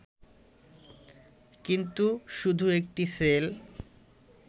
কিন্তু শুধু একটি সেল